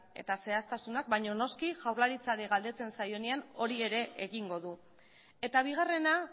eta zehaztasunak baina noski jaurlaritzari galdetzen zaionean hori ere egingo du eta bigarrena